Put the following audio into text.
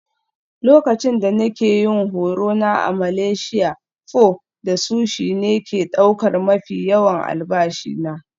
Lokacin da nake yin horo na a Malaysia, pho da sushi ne ke ɗaukar mafi yawan albashi na.